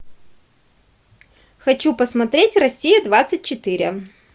хочу посмотреть россия двадцать четыре